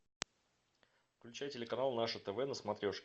включай телеканал наше тв на смотрешке